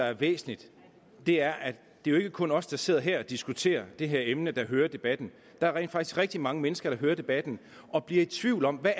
er væsentligt er at det ikke kun er os der sidder her og diskuterer det her emne der hører debatten der er rent faktisk rigtig mange mennesker der hører debatten og bliver i tvivl om hvad